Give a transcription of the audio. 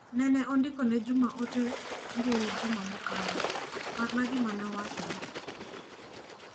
Nene andiko ne Juma ote mbui juma mokalo, parna gima ne awachone.